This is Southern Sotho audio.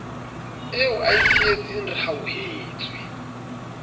eo a e sietseng rehauhetswe